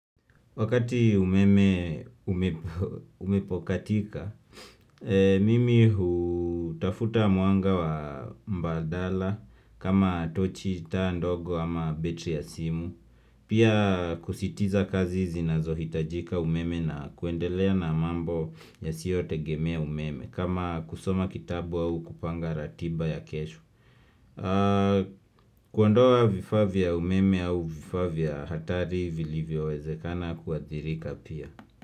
Wakati umeme umepokatika, mimi hutafuta mwanga wa mbadala kama tochi taa ndogo ama betri ya simu. Pia kusitiza kazi zinazohitajika umeme na kuendelea na mambo yasiyotegemea umeme kama kusoma kitabu au kupanga ratiba ya kesho. Kuondoa vifaa vya umeme au vifaa vya hatari vilivyowezekana kuadhirika pia.